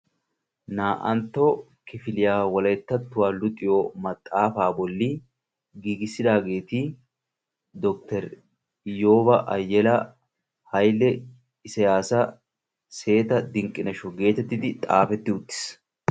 Na'antoo kifiliyaa wolayttattuwaa luxxiyoo maxafaa bolli giigissidaageti dokiter ayooba ayela, hayile isiyaasa, seeta dinqinasho, getettidi xaafettidi uttiis.